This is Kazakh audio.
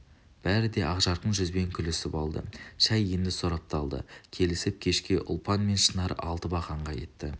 бәрі де ақжарқын жүзбен күлісіп алды шай енді сорапталды келіп кешке ұлпан мен шынар алты бақанға кетті